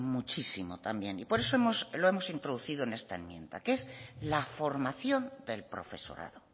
muchísimo también y por eso lo hemos introducido en esta enmienda que es la formación del profesorado